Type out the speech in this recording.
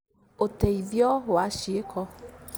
ũteithio wa cĩĩko